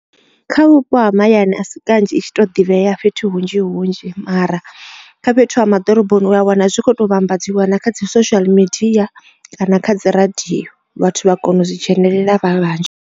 Kha vhupo ha mahayani a si kanzhi i tshi to ḓivhea fhethu hunzhi hunzhi mara kha fhethu ha maḓoroboni u a wana zwi tshi kho to vhambadziwa na kha dzi social media kana kha dzi radio vhathu vha kona u zwi dzhenelela vha vhanzhi.